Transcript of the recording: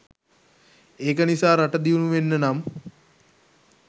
ඒක නිසා රට දියුණු වෙන්න නම්